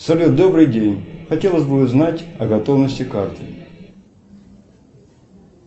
салют добрый день хотелось бы узнать о готовности карты